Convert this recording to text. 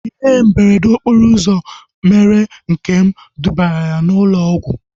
Ihe mberede okporo ụzọ mere Nkem dubara ya na ụlọ ọgwụ